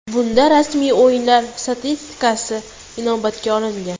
Bunda rasmiy o‘yinlar statistikasi inobatga olingan.